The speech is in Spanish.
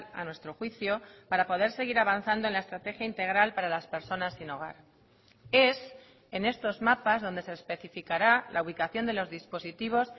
a nuestro juicio para poder seguir avanzando en la estrategia integral para las personas sin hogar es en estos mapas donde se especificará la ubicación de los dispositivos